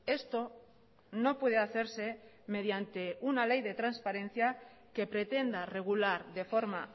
esto no puede hacerse mediante una ley de transparencia que pretenda regular de forma